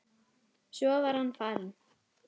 Svo var hann farinn.